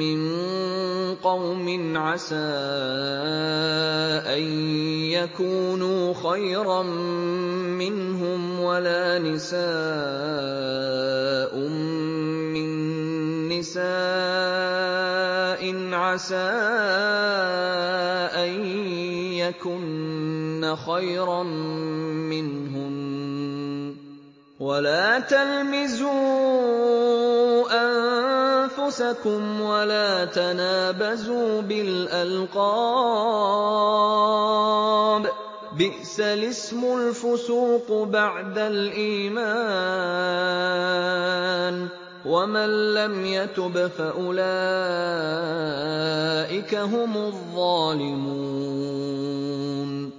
مِّن قَوْمٍ عَسَىٰ أَن يَكُونُوا خَيْرًا مِّنْهُمْ وَلَا نِسَاءٌ مِّن نِّسَاءٍ عَسَىٰ أَن يَكُنَّ خَيْرًا مِّنْهُنَّ ۖ وَلَا تَلْمِزُوا أَنفُسَكُمْ وَلَا تَنَابَزُوا بِالْأَلْقَابِ ۖ بِئْسَ الِاسْمُ الْفُسُوقُ بَعْدَ الْإِيمَانِ ۚ وَمَن لَّمْ يَتُبْ فَأُولَٰئِكَ هُمُ الظَّالِمُونَ